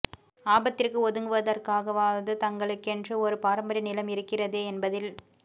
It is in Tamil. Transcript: ஆபத்திற்கு ஒதுங்குவதற்காகவாவது தங்களுக்கென்று ஒரு பாரம்பரிய நிலம் இருக்கிறதே என்பதில்